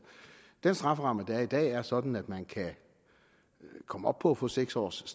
den strafferamme der er i dag er sådan at man kan komme op på at få seks års